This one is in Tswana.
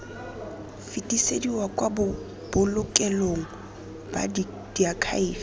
fetisediwa kwa bobolokelong ba diakhaefe